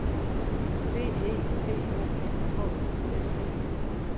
B E T O N H U S E